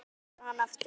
Já svarar hann aftur.